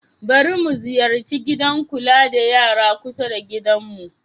Bari mu ziyarci gidan kula da yara kusa da gidanmu.